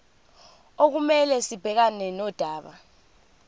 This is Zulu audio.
okumele sibhekane nodaba